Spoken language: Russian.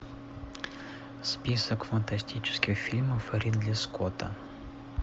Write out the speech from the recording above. список фантастических фильмов ридли скотта